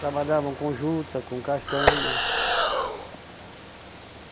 Trabalhavam com juta, com castanha.